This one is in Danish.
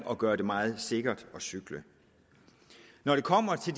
at gøre det meget sikkert at cykle når det kommer til